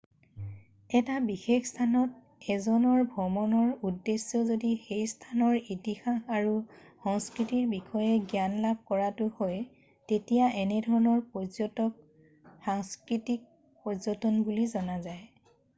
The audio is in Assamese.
এটা বিশেষ স্থানত 1জনৰ ভ্ৰমণৰ উদ্দেশ্য যদি সেই স্থানৰ ইতিহাস আৰু সংস্কৃতিৰ বিষয়ে জ্ঞান লাভ কৰাটো হয় তেতিয়া এনে ধৰণৰ পৰ্যটনক সাংস্কৃতিক পৰ্যটন বুলি জনা যায়